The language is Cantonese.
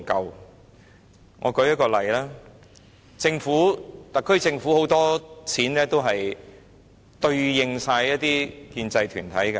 讓我舉一些例子，特區政府有很多錢都是用於建制團體。